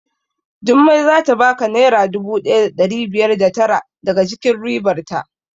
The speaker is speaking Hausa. Jummai zata baka naira dubu ɗaya da ɗari biyar da tara daga cikin ribar ta